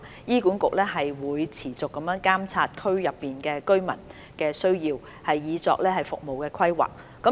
醫管局會持續監察區內居民的需要以作服務規劃。